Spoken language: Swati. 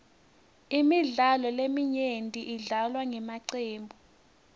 imidlalo leminyenti idlalwa ngemacembu